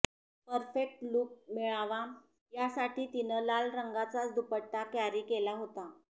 perfect look मिळावा यासाठी तिनं लाल रंगाचाच दुपट्टा कॅरी केला होता